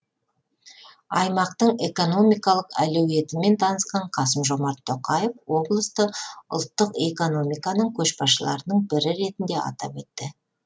аймақтың экономикалық әлеуетімен танысқан қасым жомарт тоқаев облысты ұлттық экономиканың көшбасшыларының бірі ретінде атап өтті